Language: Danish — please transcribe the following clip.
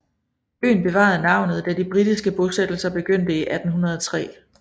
Øen bevarede navnet da de britiske bosættelser begyndte i 1803